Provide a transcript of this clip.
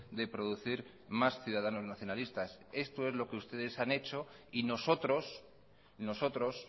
de producir más ciudadanos nacionalistas esto es lo que ustedes han hecho y nosotros nosotros